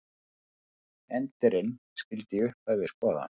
Endirinn skyldi í upphafi skoða.